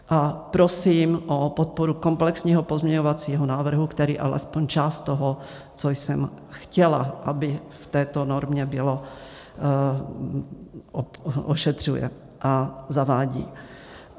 A prosím o podporu komplexního pozměňovacího návrhu, který alespoň část toho, co jsem chtěla, aby v této normě bylo, ošetřuje a zavádí.